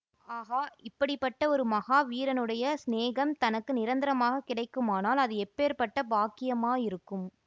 ஆஹா இப்படி பட்ட ஒரு மகா வீரனுடைய சிநேகம் தனக்கு நிரந்தரமாகக் கிடைக்குமானால் அது எப்பேர்ப்பட்ட பாக்கியமாயிருக்கும்